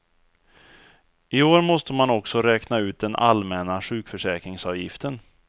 I år måste man också räkna ut den allmänna sjukförsäkringsavgiften.